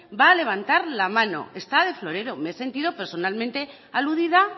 va a levantar la mano está de florero me he sentido personalmente aludida